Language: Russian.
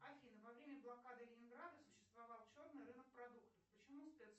афина во время блокады ленинграда существовал черный рынок продуктов почему